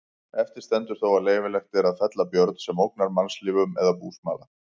Eftir stendur þó að leyfilegt er að fella björn sem ógnar mannslífum eða búsmala.